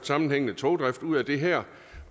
sammenhængende togdrift ud af det her